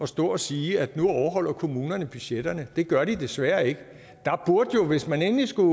stå og sige at nu overholder kommunerne budgetterne det gør de desværre ikke hvis man endelig skulle